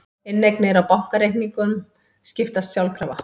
Inneignir á bankareikningum skiptast sjálfkrafa